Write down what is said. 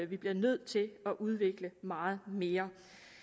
vi bliver nødt til at udvikle meget mere